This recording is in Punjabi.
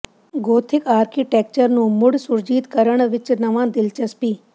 ਗੋਥਿਕ ਆਰਕੀਟੈਕਚਰ ਨੂੰ ਮੁੜ ਸੁਰਜੀਤ ਕਰਨ ਵਿੱਚ ਨਵਾਂ ਦਿਲਚਸਪੀ